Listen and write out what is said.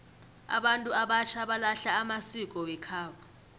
abantu abatjha balahla amasiko wekhabo